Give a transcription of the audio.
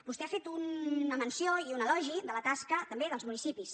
vostè ha fet una menció i un elogi de la tasca també dels municipis